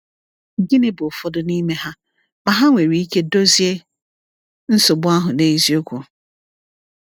Gịnị bụ ụfọdụ n’ime ha, ma ha nwere ike dozie nsogbu ahụ n’eziokwu?